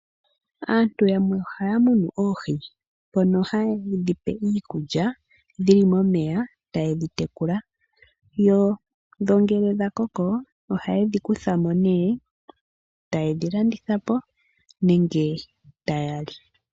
Aantu yamwe ohaya munu oohi ndhono haye dhi pe iikulya dhi li momeya, taye dhi tekula, yo ngele dha koko, ohaye dhi kutha mo nee, taye dhi landitha po nenge taya li.